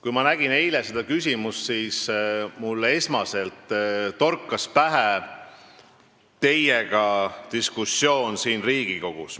Kui ma eile nägin seda küsimust, siis mulle torkas pähe diskussioon teiega siin Riigikogus.